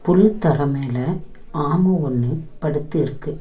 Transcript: புல் தர மேல ஆம ஒன்னு படுத்து இருக்கு.